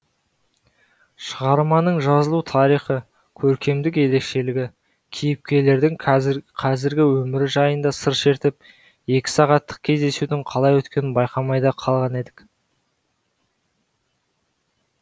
шығарманың жазылу тарихы көркемдік ерекшелігі кейіпкерлердің қазіргі өмірі жайында сыр шертіп екі сағаттық кездесудің қалай өткенін байқамай да қалған едік